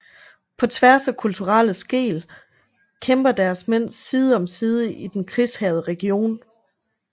På tværs af kulturelle skel kæmper deres mænd side om side i den krigshærgede region